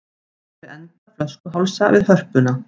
Sér fyrir enda flöskuhálsa við Hörpuna